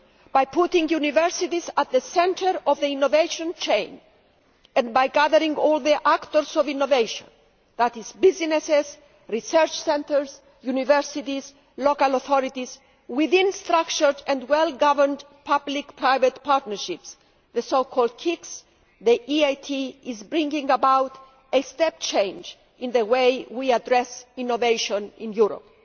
By putting universities at the centre of the innovation chain, and by gathering all the actors of innovation businesses, research centres, universities and local authorities within structured and well governed public private partnerships the so called KICs the EIT is bringing about a step change in the way we address innovation in Europe.